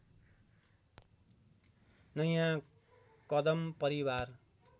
नयाँ कदम परिवार